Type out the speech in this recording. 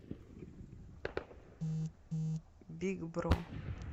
биг бро